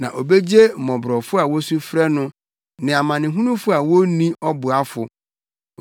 Na obegye mmɔborɔfo a wosu frɛ no, ne amanehunufo a wonni ɔboafo.